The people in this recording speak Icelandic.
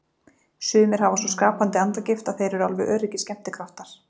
Sumir hafa svo skapandi andagift að þeir eru alveg öruggir skemmtikraftar.